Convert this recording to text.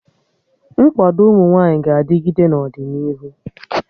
Nkwado ụmụ nwaanyị ga-adịgịde n'ọdịnihu